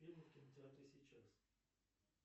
фильмы в кинотеатре сейчас